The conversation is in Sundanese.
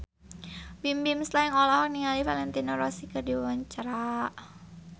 Bimbim Slank olohok ningali Valentino Rossi keur diwawancara